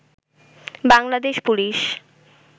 Bangladesh police